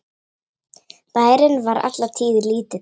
Bærinn var alla tíð lítill.